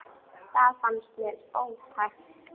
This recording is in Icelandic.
Það fannst mér ótækt.